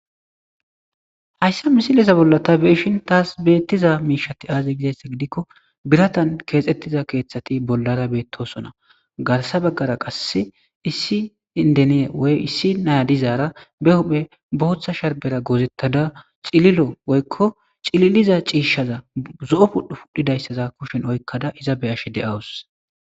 hayssa misilesa bolla ta beishin taas beettiza miishati aaze gizaessa gidikko biratan keexxettiza keeththati bollara beettosona garsa baggara qass issi indeniye woy issi naya dizaara be huphe booththa sharbera goozettada cililo woykko cililiza ciishshaza zo7o pudhdhu pudhidayssaza kushen oykkada iza be ash de7awus